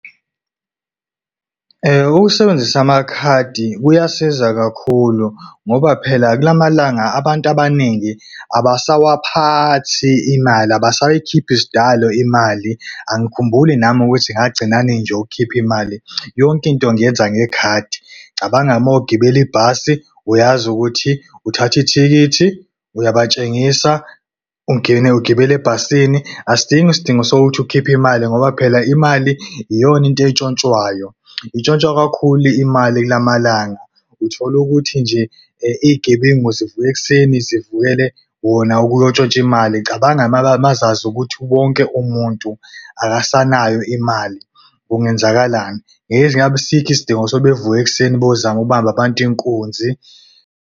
Ukusebenzisa amakhadi kuyasiza kakhulu ngoba phela kulamalanga abantu abaningi abasawaphathi imali abasayikhiphi sidalo imali. Angikhumbuli nami ukuthi ngagcina nini nje ukukhipha imali, yonke into ngiyenza ngekhadi. Cabanga-ke, uma ugibela ibhasi uyazi ukuthi uthatha ithikithi, uyabatshengisa, ungene ukugibele ebhasini. Asidingi isidingo sokuthi ukhiphe imali ngoba phela imali iyona into entshontshwayo. Intshontshwa kakhulu imali kula malanga uthola ukuthi nje iy'gebengu zivuka ekuseni zivukele wona ukuyontshontsha imali. Cabanga uma zazi ukuthi wonke umuntu akasanayo imali kungenzakalani? Ngeke ngabe asikho isidingo sokuthi bavuke ekuseni beyozama ubamba abantu inkunzi.